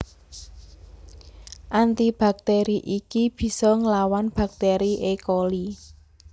Anti baktÈri iki bisa nglawan baktèri E Coli